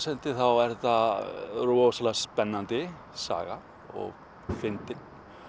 hendi þá er þetta rosalega spennandi saga og fyndin